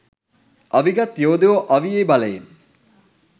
අවිගත් යෝදයෝ අවියේ බලයෙන්